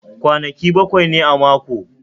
Kwanaki baƙwai ne a mako